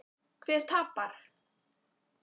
Hver tapar?